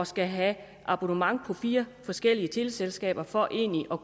skal have abonnement på fire forskellige teleselskaber for egentlig at